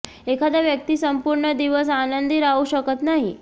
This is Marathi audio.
एखादा व्यक्ती संपूर्ण दिवस आनंदी राहू शकत नाही